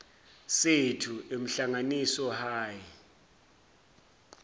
sethu emhlanganiso high